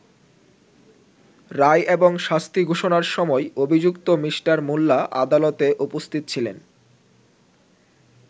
রায় এবং শাস্তি ঘোষণার সময় অভিযুক্ত মিঃ মোল্লা আদালতে উপস্থিত ছিলেন।